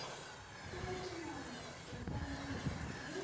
o ya temong dikgonyeng le